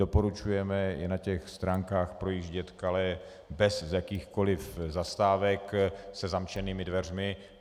Doporučujeme i na těch stránkách projíždět Calais bez jakýchkoliv zastávek, se zamčenými dveřmi.